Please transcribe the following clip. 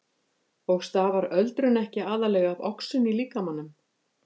Og stafar öldrun ekki aðallega af oxun í líkamanum?